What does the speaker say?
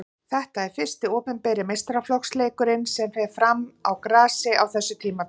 Þetta er fyrsti opinberi meistaraflokksleikurinn sem fer fram á grasi á þessu tímabili.